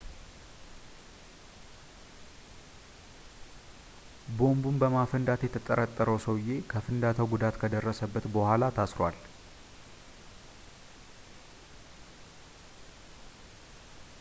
ቦምቡን በማፈንዳት የተጠረጠረው ሰውዬ ከፍንዳታው ጉዳት ከደረሰበት በኋላ ታስሯል